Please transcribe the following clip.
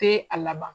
Te a laban